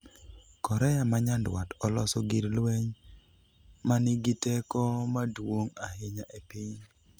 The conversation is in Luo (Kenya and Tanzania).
korea manyandwat oloso gir lweny manigiteko maduong' ahinya e piny